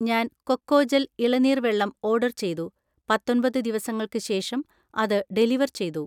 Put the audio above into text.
ഞാൻ കൊക്കോജൽ ഇളനീർ വെള്ളം ഓർഡർ ചെയ്തു, പത്തൊമ്പത് ദിവസങ്ങൾക്ക് ശേഷം അത് ഡെലിവർ ചെയ്തു.